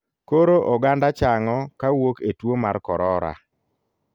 Koro oganda chang'o kawuok e tuo mar korora.